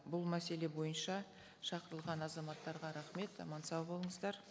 бұл мәселе бойынша шақырылған азаматтарға рахмет аман сау болыңыздар